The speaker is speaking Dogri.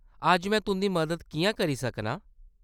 अज्ज में तुंʼदी मदद किʼयां करी सकनी आं ?